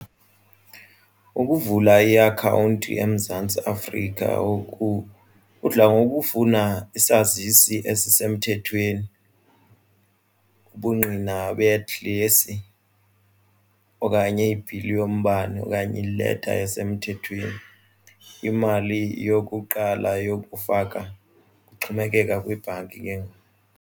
Ukuvula iakhawunti eMzantsi Afrika ngoku kudla ngokufuna isazisi ezisemthethweni ubungqina bedilesi okanye ibhili yombane okanye ileta yasemthethweni, imali yokuqala yokufaka kuxhomekeka kwibhanki ke ngoku.